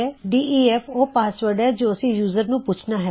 ਡੇਫ ਉਹ ਪਾਸਵਰਡ ਹੈ ਜੋ ਅਸੀਂ ਯੂਜ਼ਰ ਨੂੰ ਪੂਛਨਾ ਹੈ